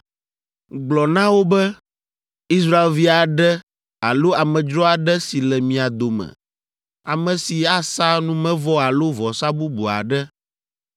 “Gblɔ na wo be, ‘Israelvi aɖe alo amedzro aɖe si le mia dome, ame si asa numevɔ alo vɔsa bubu aɖe,